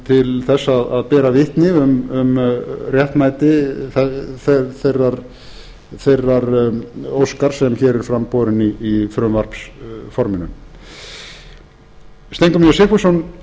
til þess að bera vitni um réttmæti þeirrar óskar sem hér er fram borin í frumvarpsforminu steingrímur j sigfússon